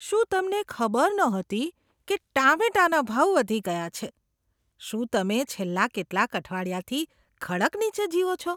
શું તમને ખબર નહોતી કે ટામેટાના ભાવ વધી ગયા છે? શું તમે છેલ્લા કેટલાક અઠવાડિયાથી ખડક નીચે જીવો છો?